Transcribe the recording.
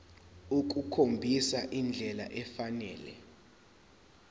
ukukhombisa indlela efanele